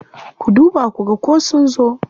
Ku duba ku ga ko sun zo.